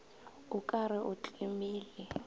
o ka re o tlemile